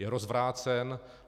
Je rozvrácen.